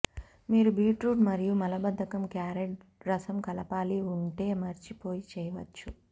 మీరు బీట్రూటు మరియు మలబద్ధకం క్యారట్ రసం కలపాలి ఉంటే మర్చిపోయి చేయవచ్చు